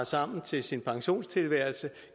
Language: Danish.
sammen til sin pensionisttilværelse